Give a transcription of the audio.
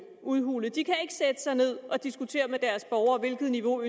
udhulet de kan ikke sætte sig ned og diskutere med deres borgere hvilket niveau